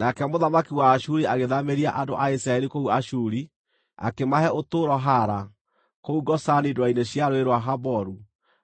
Nake mũthamaki wa Ashuri agĩthaamĩria andũ a Isiraeli kũu Ashuri, akĩmahe ũtũũro Hala, kũu Gozani ndwere-inĩ cia Rũũĩ rwa Haboru